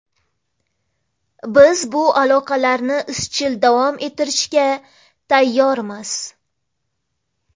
Biz bu aloqalarni izchil davom ettirishga tayyormiz”.